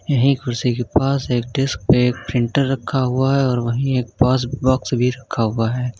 यहीं कुर्सी के पास एक डेस्क पे एक प्रिंटर रखा हुआ है और वहीं एक पास बॉक्स भी रखा हुआ है।